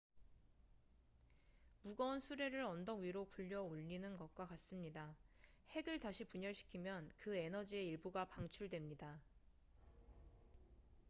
무거운 수레를 언덕 위로 굴려 올리는 것과 같습니다 핵을 다시 분열시키면 그 에너지의 일부가 방출됩니다